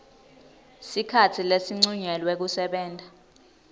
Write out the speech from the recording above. sikhatsi lesincunyelwe kusebenta